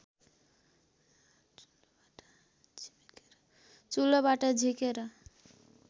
चुलोबाट झिकेर